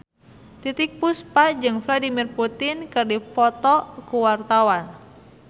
Titiek Puspa jeung Vladimir Putin keur dipoto ku wartawan